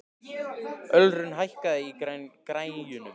Ölrún, hækkaðu í græjunum.